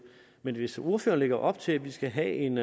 men hvis ordføreren lægger op til at vi skal have en